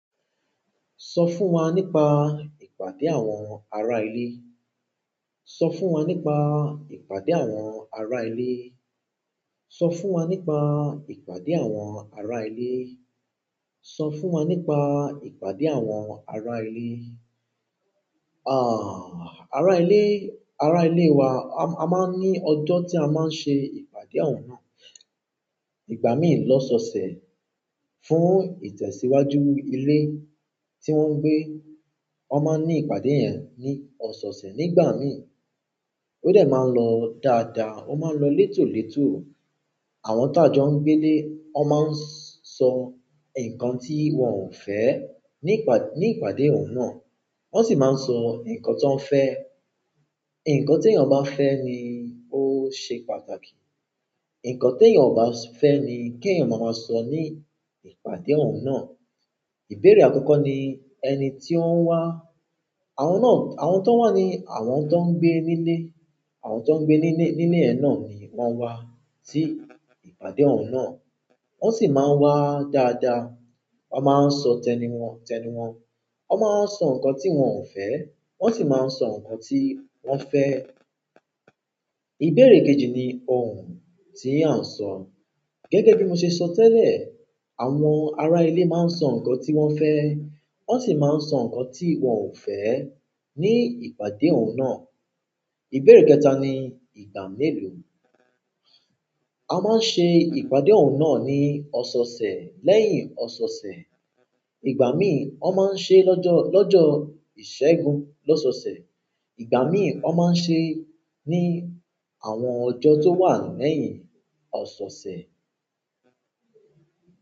Sọ fún wa nípa ìpàdé àwọn ará ilé. Sọ fún wa nípa ìpàdé àwọn ará ilé. Sọ fún wa nípa ìpàdé àwọn ará ilé. Sọ fún wa nípa ìpàdé àwọn ará ilé. Àh, ará ilé, ará ilé wa, a máa ń ní ọjọ́ tí a máa ń ṣe ìpàdé àwọn náà. Ìgbà mìí lọ́ sọ̀sẹ̀ fún ìtẹ̀síwájú ilé tí wọ́n ń gbé, wọn máa ń ní ìpàdé yẹn ní ọ̀sọ̀ọ̀sẹ̀. Ní ìgbà mìí, ó de máa ń lọ dáadáa, ó máa ń lọ létòletò. Àwọn tájọ́ ń gbé lé, wọn máa ń sọ nǹkan tí wọ́n ò fẹ́ ní ìpà ìpàdé òun náà. Wọ́n sì máa ń sọ nǹkan tí wọ́n fẹ́. Ìǹkan tí èèyàn bá fẹ́ ni ó ṣe pàtàkì. Ìǹkan tí èèyàn kò bá fẹ́ ni kí èèyàn máa sọ ní ìpàdé òun náà. Ìbéèrè akoko ni ẹni tio wa, àwọn no àwọn ton wa ni àwọn ton gbe nile. Àwọn tó ń gbé nílé, nílé yẹn náà ni wọ́n wá sí ìpàdé òun náà. Wọ́n sì máa ń wá dáadáa. Wọ́n máa ń sọ tẹnu wọn, tẹnu wọn. Wọ́n máa ń sọ nǹkan tí wọ́n ò fẹ́. Wọ́n sì máa ń sọ nǹkan tí wọ́n fẹ́. Ìbéèrè kejì ni ohùn tí a ń sọ. Gẹ́gẹ́ bí mo ṣe sọ tẹ́lẹ̀, àwọn ará ilé máa ń sọ nǹkan tí wọ́n fẹ́. Won si maa n so nkan ti won o fe ni ìpàdé un na. Ìbéèrè kẹta ni ìgbà mélòó. A máa ń ṣe ìpàdé òun náà ní ọ̀sọ̀ọ̀sẹ̀ lẹ́yìn ọ̀sọ̀ọ̀sẹ̀. Ìgbà mìí, wọn máa ń ṣe lọ́jọ́, lọ́jọ́ ìṣẹ́gun lọ́sọsẹ̀. Ìgbà mìí, wọn máa ń ṣe ní àwọn ọjọ́ tó wà lẹ́yìn ọ̀sọ̀ọ̀sẹ̀.